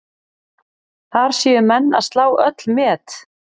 Þar séu menn að slá öll met.